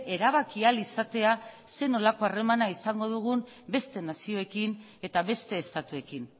erabaki ahal izatea zer nolako harremana izango dugun beste nazioekin eta beste estatuekin